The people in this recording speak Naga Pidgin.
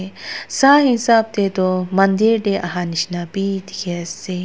sah hisab teh toh mandir teh aha nisna bhi dikhi ase.